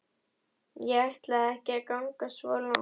Ég ætlaði ekki að ganga svo langt.